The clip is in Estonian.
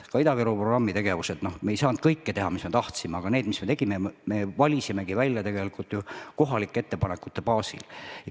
Ka Ida-Virumaa programmi tegevus – me ei saanud teha kõike, mida me tahtsime, aga selle, mis me tegime, me valisime välja kohalike ettepanekute baasil.